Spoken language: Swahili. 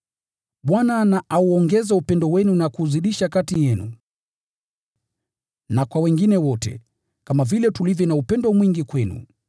Bwana na auongeze upendo wenu na kuuzidisha kati yenu na kwa wengine wote, kama vile tulivyo na upendo mwingi kwenu.